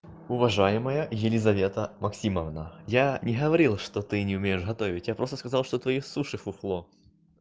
уважаемая елизавета максимовна я не говорил что ты не умеешь готовить я просто сказал что твои суши фуфло